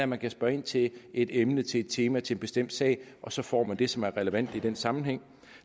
man kan spørge ind til et emne til et tema til en bestemt sag og så får man det som er relevant i den sammenhæng